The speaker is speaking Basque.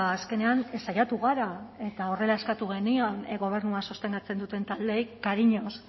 azkenean saiatu gara eta horrela eskatu genion gobernua sostengatzen duten taldeei